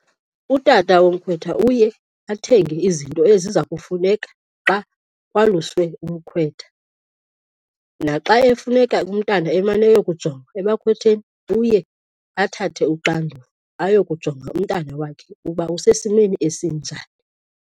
Utata womkhwetha uye athenge izinto eziza kufuneka xa kwaluswe umkhwetha. Naxa efuneka umntana emane eyokujongwa ebakhwetheni uye athathe uxanduva ayokujonga umntana wakhe uba usesimeni esinjani.